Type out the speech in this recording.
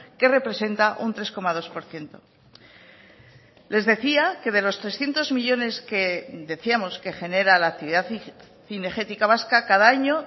que representa un tres coma dos por ciento les decía que de los trescientos millónes que decíamos que genera la actividad cinegética vasca cada año